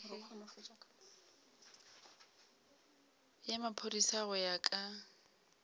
ya maphodisa go ya ka